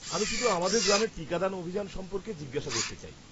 আমি শুধু আমাদের গ্রামে টিকাদান অভিযান সম্পর্কে জিজ্ঞেস করতে চাই।